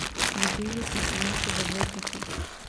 Vodili smo samo še za dve piki.